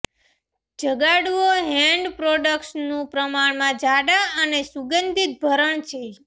જગાડવો hand પ્રોડક્ટ્સનું પ્રમાણમાં જાડા અને સુગંધિત ભરણ છે